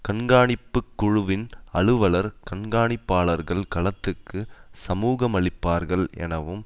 கண்காணிப்பு குழுவின் அலுவலர் கண்காணிப்பாளர்கள் களத்துக்கு சமூகமளிப்பார்கள் எனவும்